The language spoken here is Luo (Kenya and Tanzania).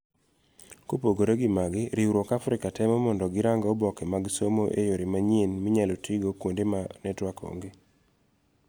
Kopogore gi magi, riwruok Africa temo mondo girang oboke mag somo eyore manyien minyalo tii godo kuonde ma network onge.